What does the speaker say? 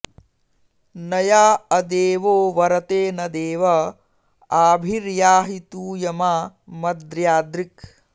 न या अदेवो वरते न देव आभिर्याहि तूयमा मद्र्यद्रिक्